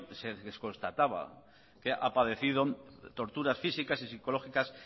les constataba que ha padecido torturas físicas y psicológicas